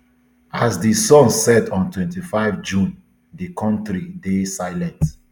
as di sun set on twenty-five june di kontri dey silent